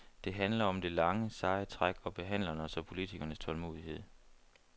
Det handler om det lange, seje træk og behandlernes og politikernes tålmodighed.